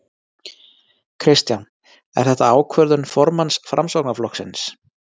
Kristján: Er þetta ákvörðun formanns Framsóknarflokksins?